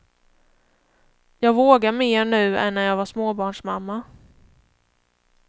Jag vågar mer nu än när jag var småbarnsmamma.